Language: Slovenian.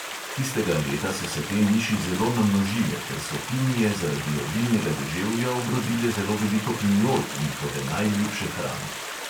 Tistega leta so se te miši zelo namnožile, ker so pinije zaradi obilnega deževja obrodile zelo veliko pinjol, njihove najljubše hrane.